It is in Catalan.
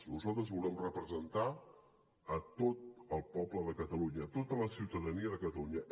nosaltres volem representar a tot el poble de catalunya a tota la ciutadania de catalunya